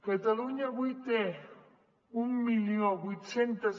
catalunya avui té mil vuit cents